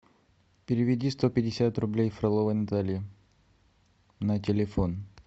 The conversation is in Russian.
переведи сто пятьдесят рублей фроловой наталье на телефон